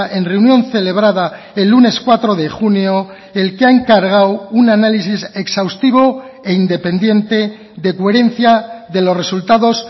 en reunión celebrada el lunes cuatro de junio el que ha encargado un análisis exhaustivo e independiente de coherencia de los resultados